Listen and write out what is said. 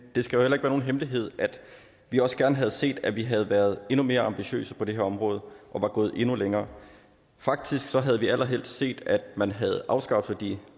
det skal heller ikke være nogen hemmelighed at vi også gerne havde set at vi havde været endnu mere ambitiøse på det her område og var gået endnu længere faktisk havde vi allerhelst set at man havde afskaffet de